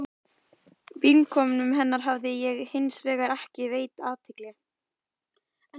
Vinkonum hennar hafði ég hins vegar ekki veitt athygli.